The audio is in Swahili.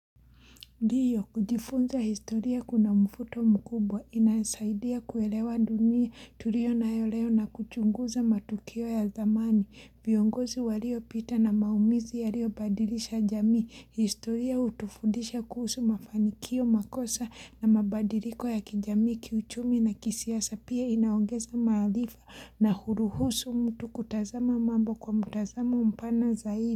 Ndiyo, kujifunza historia kuna mvuto mkubwa, inasaidia kuelewa dunia tulio nayoleo na kuchunguza matukio ya zamani, viongozi walio pita na maumizi yaliobadilisha jamii, historia hutufudisha kuhusu mafanikio makosa na mabadiliko ya kijamii, kiuchumi na kisiasa pia inaongeza maharifa na huruhusu mtu kutazama mambo kwa mutazama mpana zaidi.